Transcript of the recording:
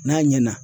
N'a ɲɛna